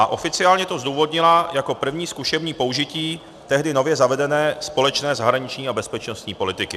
A oficiálně to zdůvodnila jako první zkušební použití tehdy nově zavedené společné zahraniční a bezpečnostní politiky.